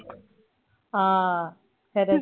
ह खरच